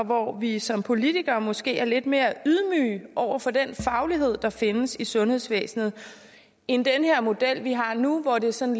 hvor vi som politikere måske er lidt mere ydmyge over for den faglighed der findes i sundhedsvæsenet end den model vi har nu hvor det er sådan